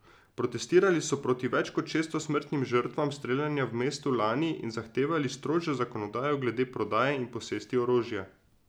Protestirali so proti več kot šeststo smrtnim žrtvam streljanja v mestu lani in zahtevali strožjo zakonodajo glede prodaje in posesti orožja.